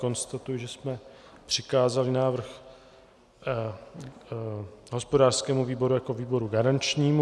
Konstatuji, že jsme přikázali návrh hospodářskému výboru jako výboru garančnímu.